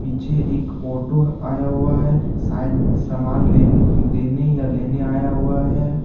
पीछे एक ऑटो आया हुआ है शायद सामान ले देने या लेने आया हुआ है।